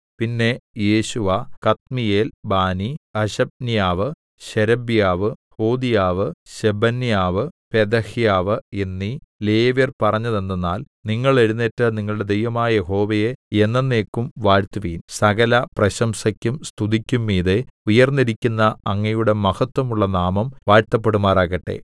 പിന്നെ Jeshua Kadmiel Bani Hashabneiah Sherebiah Hodiah Shebaniah Pethahiah എന്നീ ലേവ്യർ പറഞ്ഞതെന്തെന്നാൽ നിങ്ങൾ എഴുന്നേറ്റ് നിങ്ങളുടെ ദൈവമായ യഹോവയെ എന്നെന്നേക്കും വാഴ്ത്തുവിൻ സകല പ്രശംസയ്ക്കും സ്തുതിക്കും മീതെ ഉയർന്നിരിക്കുന്ന അങ്ങയുടെ മഹത്വമുള്ള നാമം വാഴ്ത്തപ്പെടുമാറാകട്ടെ